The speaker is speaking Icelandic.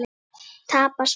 Tapað spil?